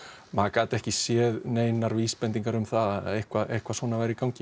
maður gat ekki séð neinar vísbendingar um það að eitthvað eitthvað svona væri í gangi